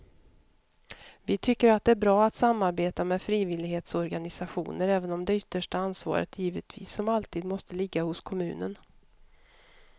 Vi tycker att det är bra att samarbeta med frivillighetsorganisationer även om det yttersta ansvaret givetvis som alltid måste ligga hos kommunen.